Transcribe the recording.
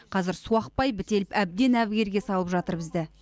қазір су ақпай бітеліп әбден әбігерге салып жатыр бізді